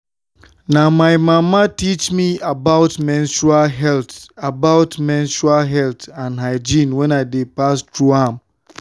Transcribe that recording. na my mama teach me about menstrual health about menstrual health and hygiene when i dey pass through am.